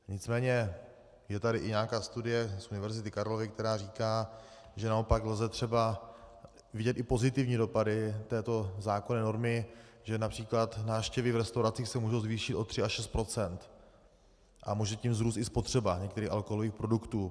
Nicméně je tady i nějaká studie z Univerzity Karlovy, která říká, že naopak lze třeba vidět i pozitivní dopady této zákonné normy, že například návštěvy v restauracích se mohou zvýšit o 3 až 6 % a může tím vzrůst i spotřeba některých alkoholových produktů.